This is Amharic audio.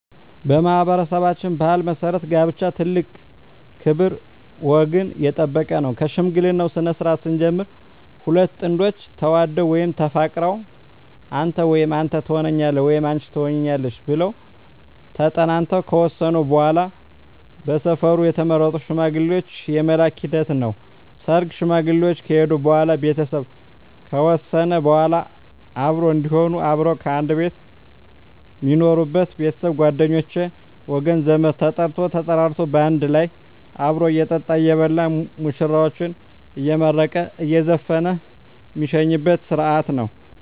በማኅበረሠባችን ባሕል መሠረት ጋብቻ ትልቅ ክብር ወገን የጠበቀ ነው ከሽምግልናው ስነስርዓት ስንጀምር ሁለት ጥንዶች ተዋደው ወይም ተፋቅረው አንተ ወይም አንተ ተሆነኛለህ ወይም አንች ትሆኝኛለሽ ብለው ተጠናንተው ከወሰኑ በዋላ በሰፈሩ የተመረጡ ሽማግሌዎች የመላክ ሂደት ነው ሰርግ ሽማግሌዎች ከሄዱ በዋላ ቤተሰብ ከወሰነ በዋላ አብሮ እዴሆኑ አብረው ከአንድ ቤት ሜኖሩበች ቤተሰብ ጓደኞቼ ወገን ዘመድ ተጠርቶ ተጠራርቶ ባንድ ላይ አብሮ እየጠጣ እየበላ ሙሽራዎችን አየመረቀ እየዘፈነ ሜሸኝበት ስረሀት ነው